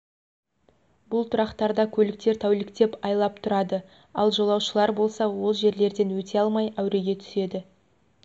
бұл тұрақтарда көліктер тәуліктеп айлап тұрады ал жолаушылар болса ол жерлерден өте алмай әуреге түседі